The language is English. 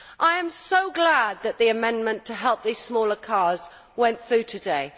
I am so glad that the amendment to help these smaller cars went through today.